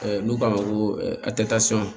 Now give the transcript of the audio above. N'u k'a ma ko